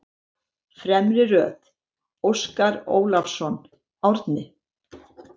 Fremri röð: Óskar Ólafsson, Árni